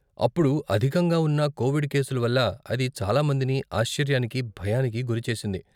అప్పుడు అధికంగా ఉన్న కోవిడ్ కేసుల వల్ల అది చాలా మందిని ఆశ్చర్యానికి, భయానికి గురిచేసింది.